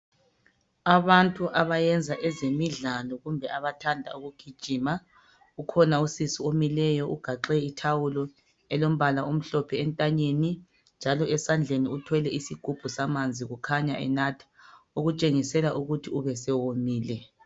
Abantu abayenza ezemidlalo kumbe abantu abathanda ukugijima ukhona usisi omileyo ugaxe ithawulo elombala omhlophe entanyeni njalo esandleni uthwele isigubhu samanzi kukhanya enatha okutshengisela ukuthi ube esewomile